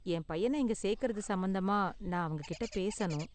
என் பையன இங்க சேர்க்கறது சம்பந்தமா நான் அவங்ககிட்ட பேசணும்.